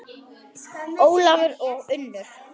Ólafur og Unnur.